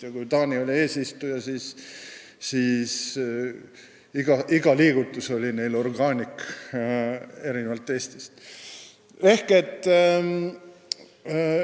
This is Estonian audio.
Ja kui Taani oli eesistuja, siis iga nende liigutus oli erinevalt Eestist organic.